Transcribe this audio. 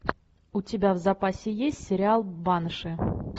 у тебя в запасе есть сериал банши